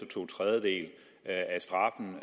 to tredjedele